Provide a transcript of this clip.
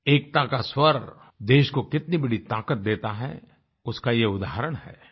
एकता का स्वर देश को कितनी बड़ी ताकत देता है उसका यह उदाहरण है